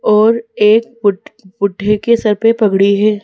और एक बुढ बुड्ढे के सर पे पगड़ी है।